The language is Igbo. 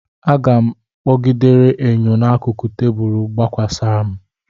Aga m kpọgidere enyo n'akụkụ tebụl gbakwasa m.